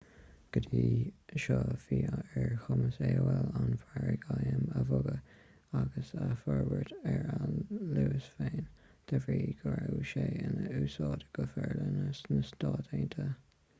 go dtí seo bhí ar chumas aol an margadh im a bhogadh agus a fhorbairt ar a luas féin de bhrí go raibh sé in úsáid go forleathan sna stáit aontaithe